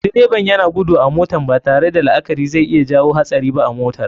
Direban yana gudu a motan, batare da la akari zai iya jawo hatsari ba a motar.